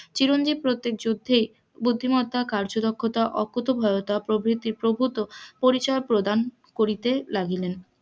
চিরঞ্জীব প্রত্যেক যুদ্ধেই বুদ্ধিমত্তা, কার্যদক্ষতা, অকুতোভয়তা প্রভৃতি প্রভূত পরিচয় প্রদান করিতে লাগিলেন,